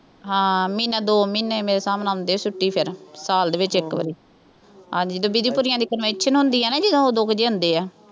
ਹਾਂ ਮਹੀਨਾ ਦੋ ਮਹੀਨੇ ਮੇਰੇ ਹਿਸਾਬ ਨਾਲ ਆਉਂਦੇ ਆ ਛੁੱਟੀ ਫੇਰ ਸਾਲ ਦੇ ਵਿੱਚ ਇੱਕ ਵਾਰੀ, ਹਾਂਜੀ ਡੱਬੀ ਦੀ ਭੂਰੀਆਂ ਦੀ convention ਹੁੰਦੀ ਆ ਨਾ ਜਦੋਂ ਉਦੋਂ ਕੁ ਜਿਹੇ ਆਉਂਦੇ ਆ